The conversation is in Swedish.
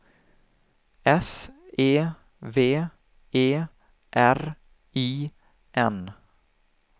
S E V E R I N